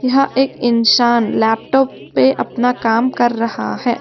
यह एक इंसान लैपटॉप पे अपना काम कर रहा है।